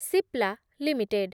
Cipla limited